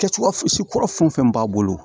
Kɛcogoya si kɔrɔ fɛn o fɛn b'a bolo